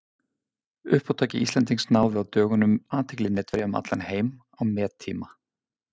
Uppátæki Íslendings náði á dögunum athygli netverja um allan heim á mettíma.